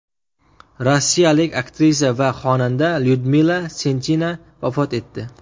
Rossiyalik aktrisa va xonanda Lyudmila Senchina vafot etdi.